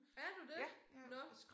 Er du det? Nåh